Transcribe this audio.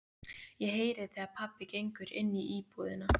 Ég heyri þegar pabbi gengur inní íbúðina.